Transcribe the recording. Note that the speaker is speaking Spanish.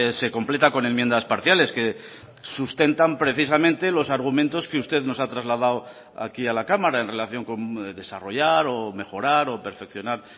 se completa con enmiendas parciales que sustentan precisamente los argumentos que usted nos ha trasladado aquí a la cámara en relación con desarrollar o mejorar o perfeccionar